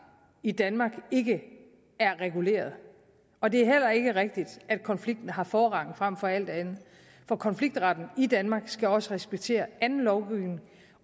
i danmark ikke er reguleret og det er heller ikke rigtigt at konflikten har forrang frem for alt andet for konfliktretten i danmark skal også respektere anden lovgivning